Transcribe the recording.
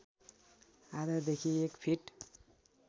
आधादेखि एक फिट